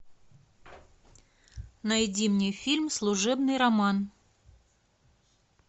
найди мне фильм служебный роман